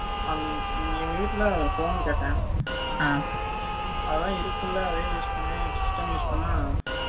எங்க வீட்டுல, phone கேட்டேன். ம் 54 . அதான் இருக்குல்ல, அதையும் use பண்ணேன். System use பண்ணா,